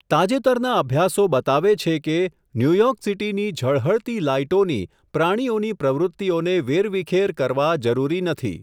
તાજેતરના અભ્યાસો બતાવે છે કે, ન્યૂયોર્ક સીટી ની ઝળહળતી લાઈટોની પ્રાણીઓની પ્રવૃત્તિઓને વેરવિખેર કરવા જરૂરી નથી.